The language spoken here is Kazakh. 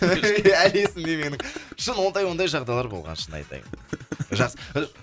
әлі есімде менің шын ондай ондай жағдайлар болған шын айтайын жақсы